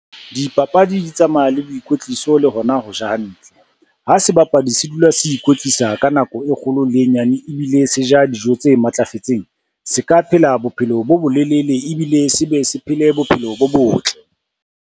Dipapadi di tsamaya le boikwetliso le hona ho ja hantle. Ha sebapadi se dula se ikwetlisa ka nako e kgolo le e nyane ebile se ja dijo tse matlafetseng, se ka phela bophelo bo bolelele ebile se be se phele bophelo bo botle.